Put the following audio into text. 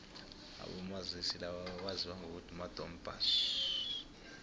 abomazisi laba bebaziwa ngokuthi madom pass